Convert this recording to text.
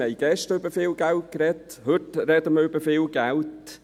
Wir haben gestern über viel Geld gesprochen, und heute sprechen wir auch über viel Geld.